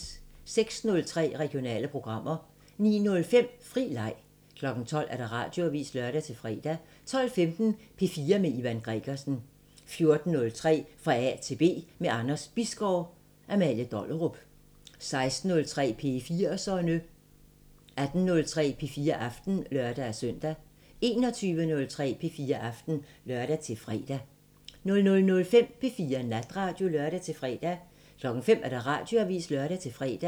06:03: Regionale programmer 09:05: Fri Leg 12:00: Radioavisen (lør-fre) 12:15: P4 med Ivan Gregersen 14:03: Fra A til B – med Anders Bisgaard: Amalie Dollerup 16:03: P4'serne 18:03: P4 Aften (lør-søn) 21:03: P4 Aften (lør-fre) 00:05: P4 Natradio (lør-fre) 05:00: Radioavisen (lør-fre)